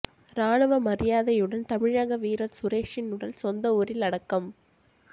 ராணுவ மரியாதையுடன் தமிழக வீரர் சுரேஷின் உடல் சொந்த ஊரில் அடக்கம்